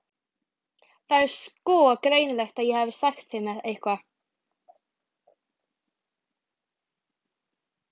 Það var sko greinilegt að ég hefði sagt þeim eitthvað.